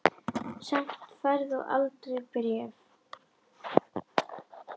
Samt færð þú aldrei bréf.